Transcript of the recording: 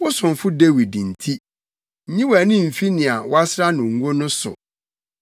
Wo somfo Dawid nti, nyi wʼani mfi nea woasra no ngo no so.